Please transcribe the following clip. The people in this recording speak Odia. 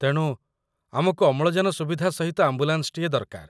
ତେଣୁ, ଆମକୁ ଅମ୍ଳଜାନ ସୁବିଧା ସହିତ ଆମ୍ବୁଲାନ୍ସଟିଏ ଦରକାର।